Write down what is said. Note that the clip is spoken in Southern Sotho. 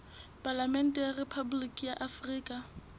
palamente ya rephaboliki ya afrika